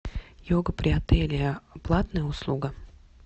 йога при отеле платная услуга